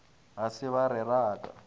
ga se ba re raka